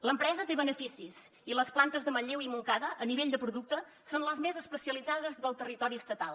l’empresa té beneficis i les plantes de manlleu i montcada a nivell de producte són les més especialitzades del territori estatal